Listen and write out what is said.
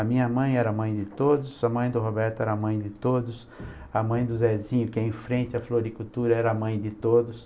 A minha mãe era a mãe de todos, a mãe do Roberto era a mãe de todos, a mãe do Zezinho, que é em frente à floricultura, era a mãe de todos.